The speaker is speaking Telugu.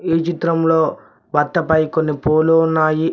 ఈ చిత్రంలో బత్త పై కొన్ని పూలు ఉన్నాయి.